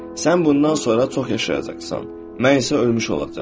Sən bundan sonra çox yaşayacaqsan, mən isə ölmüş olacam.